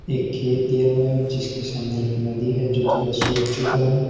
एक खेत दिया हुआ है जिसके सामने एक नदी है जो थोड़ा सुख चुका है।